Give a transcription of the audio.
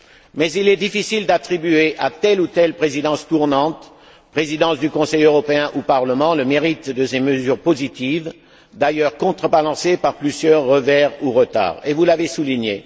Mais il est difficile d'attribuer à telle ou telle présidence tournante, présidence du Conseil européen ou Parlement, le mérite de ces mesures positives, qui ont toutefois connu plusieurs revers ou retards, comme vous l'avez souligné.